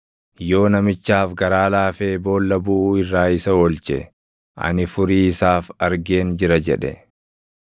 yoo namichaaf garaa laafee ‘Boolla buʼuu irraa isa oolche; ani furii isaaf argeen jira’ jedhe,